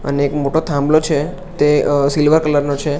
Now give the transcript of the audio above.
અને એક મોટો થાંભલો છે તે અ સિલ્વર કલર નો છે.